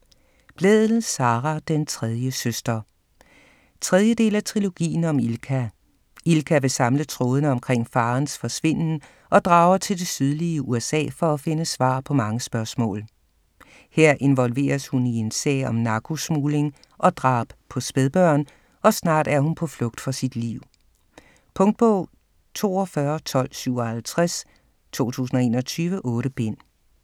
Blædel, Sara: Den tredje søster 3. del af Trilogien om Ilka. Ilka vil samle trådene omkring faderens forsvinden og drager til det sydlige USA for at finde svar på mange spørgsmål. Her involveres hun i en sag om narkosmugling og drab på spædbørn, og snart er hun på flugt for sit liv. Punktbog 421257 2021. 8 bind.